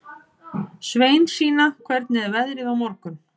Sveinsína, hvernig er veðrið á morgun?